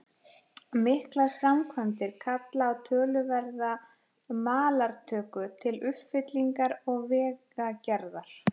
Miklar framkvæmdir kalla á töluverða malartöku til uppfyllingar og vegagerðar.